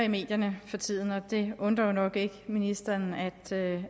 i medierne for tiden det undrer jo nok ikke ministeren